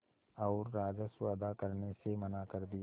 और राजस्व अदा करने से मना कर दिया